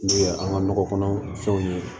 N'o ye an ka nɔgɔ kɔnɔ fɛnw ye